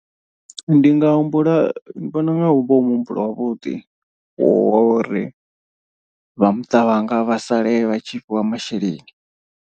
Ndi nga humbula ndi vhona unga hu vha hu muhumbulo wavhuḓi wa uri vha muṱa wanga vha sale vha tshi fhiwa masheleni.